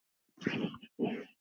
Og hverju? spyr hann.